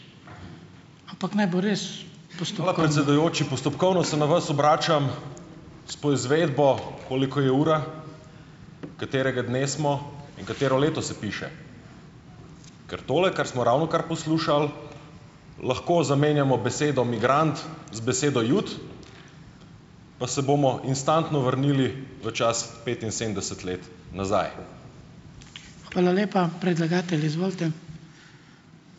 Hvala, predsedujoči. Postopkovno se na vas obračam s poizvedbo, koliko je ura, katerega dne smo in katero leto se piše, ker tole, kar smo ravnokar poslušali, lahko zamenjamo besedo 'migrant' z besedo 'jud' pa se bomo instantno vrnili v čas petinsedemdeset let nazaj.